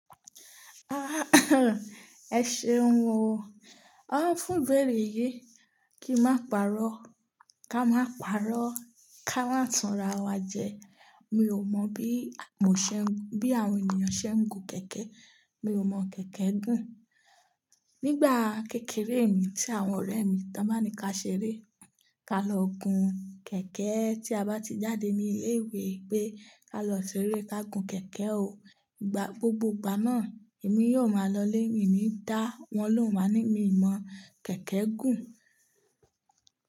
Ah, ẹ ṣeun o. A fún ibèrè yìí kí n máa paarọ́, ká máa paarọ́ ká máa tanra wa jẹ. Mi ò mọ̀ bí mò ń ṣe, bí àwọn ènìyàn ṣe ń gun kẹ̀kẹ́. Mi ò mọ̀ kẹ̀kẹ́ gùn. Nígbà kékeré mi tí àwọn ọ̀rẹ́ mi tán bá mi ká ṣeré, ká lọ gun kẹ̀kẹ́ tí a bá ti jáde ní ilé ìwé pé, ká lọ ṣeré ká gun kẹ̀kẹ́ o. Gba gbogbo ìgbà náà, èmi yóò máa lọlé, èmi ní í dá, wọn ló máa ń ní mi ò mọ̀ kẹ̀kẹ́ gùn.